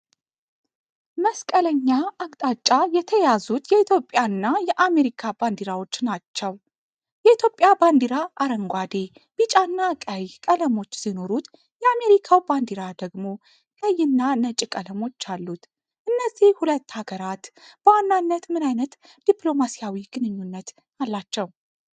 መስቀለኛ አቅጣጫ የተያዙት የኢትዮጵያና የአሜሪካ ባንዲራዎች ናቸው። የኢትዮጵያ ባንዲራ አረንጓዴ፣ ቢጫና ቀይ ቀለሞች ሲኖሩት፣ የአሜሪካው ባንዲራ ደግሞ ቀይና ነጭ ቀለሞች አሉት። እነዚህ ሁለት ሀገራት በዋናነት ምን አይነት ዲፕሎማሲያዊ ግንኙነት አላቸው?